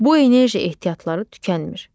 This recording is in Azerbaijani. Bu enerji ehtiyatları tükənmir.